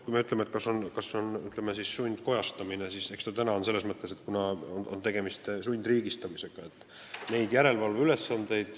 Kui me küsime, kas see on sundkojastamine, siis eks täna ole selles mõttes tegemist sundriigistamisega.